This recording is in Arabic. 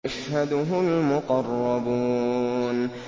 يَشْهَدُهُ الْمُقَرَّبُونَ